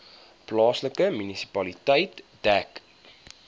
plaaslike munisipaliteit dek